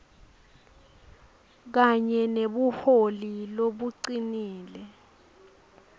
kanye nebuholi lobucinile